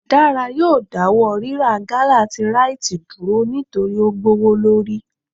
Dara yóò dawọ rirá gala tí Rite dúrò nitori o gbowolori.